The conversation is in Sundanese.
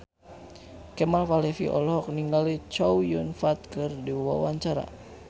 Kemal Palevi olohok ningali Chow Yun Fat keur diwawancara